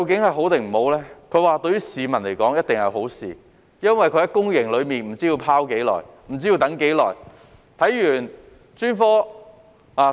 他說對市民而言一定是好事，因為病人在公營體系內不知被"拋"多久，不知需等候多久。